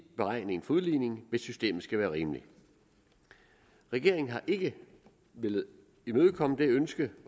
beregning af udligningen hvis systemet skal være rimeligt regeringen har ikke villet imødekomme det ønske